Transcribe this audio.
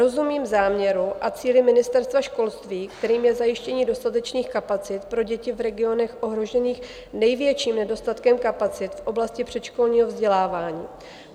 Rozumím záměru a cíli Ministerstva školství, kterým je zajištění dostatečných kapacit pro děti v regionech ohrožených největším nedostatkem kapacit v oblasti předškolního vzdělávání.